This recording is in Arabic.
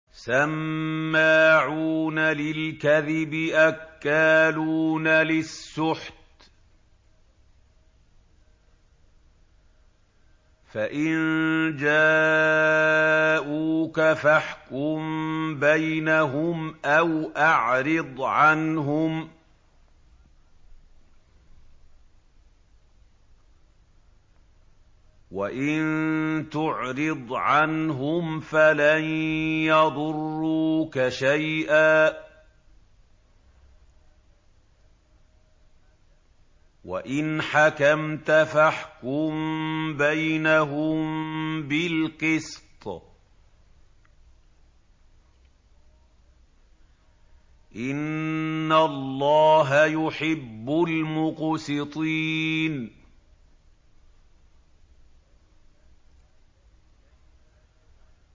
سَمَّاعُونَ لِلْكَذِبِ أَكَّالُونَ لِلسُّحْتِ ۚ فَإِن جَاءُوكَ فَاحْكُم بَيْنَهُمْ أَوْ أَعْرِضْ عَنْهُمْ ۖ وَإِن تُعْرِضْ عَنْهُمْ فَلَن يَضُرُّوكَ شَيْئًا ۖ وَإِنْ حَكَمْتَ فَاحْكُم بَيْنَهُم بِالْقِسْطِ ۚ إِنَّ اللَّهَ يُحِبُّ الْمُقْسِطِينَ